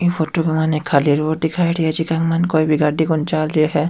ई फोटो के माइन एक खाली रोड दिखाईडा है जीका माइन कोई भी गाड़ी कोनी चाल रही है।